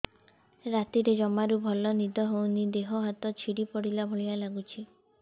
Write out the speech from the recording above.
ରାତିରେ ଜମାରୁ ଭଲ ନିଦ ହଉନି ଦେହ ହାତ ଛିଡି ପଡିଲା ଭଳିଆ ଲାଗୁଚି